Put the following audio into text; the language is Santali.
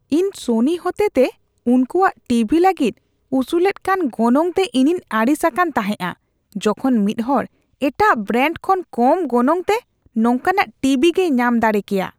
ᱤᱧ ᱥᱚᱱᱤ ᱦᱚᱛᱮᱛᱮ ᱩᱱᱠᱚᱣᱟᱜ ᱴᱤ ᱵᱷᱤ ᱞᱟᱹᱜᱤᱫ ᱩᱥᱩᱞᱮᱫ ᱠᱟᱱ ᱜᱚᱱᱚᱝᱛᱮ ᱤᱧᱤᱧ ᱟᱹᱲᱤᱥ ᱟᱠᱟᱱ ᱛᱟᱦᱮᱸᱜᱼᱟ, ᱡᱚᱠᱷᱚᱱ ᱢᱤᱫᱦᱚᱲ ᱮᱴᱟᱜ ᱵᱨᱟᱱᱰ ᱠᱷᱚᱱ ᱠᱚᱢ ᱜᱚᱱᱚᱝᱛᱮ ᱱᱚᱝᱠᱟᱱᱟᱜ ᱴᱤᱵᱤ ᱜᱮᱭ ᱧᱟᱢ ᱫᱟᱲᱮ ᱠᱮᱭᱟ᱾